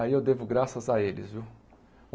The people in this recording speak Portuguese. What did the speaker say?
Aí eu devo graças a eles, viu?